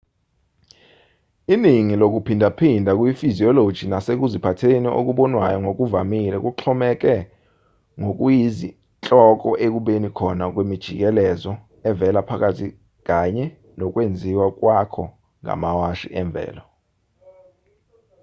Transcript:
iningi lokuphindaphinda kuyifiziyoloji nasekuziphatheni okubonwayo ngokuvamile kuxhomeke ngokuyinhloko ekubeni khona kwemijikelezo evela phakathi kanye nokwenziwa kwako ngamawashi emvelo